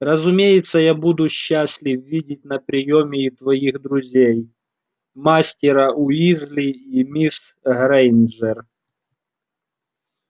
разумеется я буду счастлив видеть на приёме и твоих друзей мастера уизли и мисс грэйнджер